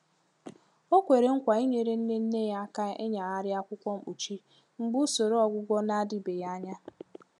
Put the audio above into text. O kwere nkwa inyere nne nne ya aka ịnyagharị akwụkwọ mkpuchi mgbe usoro ọgwụgwọ na-adịbeghị anya.